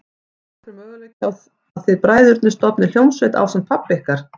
Hödd: Er einhver möguleiki á að þið bræðurnir stofnið hljómsveit ásamt pabba ykkar?